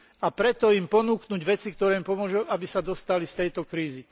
A preto im ponúknuť veci, ktoré im pomôžu, aby sa dostali z tejto krízy.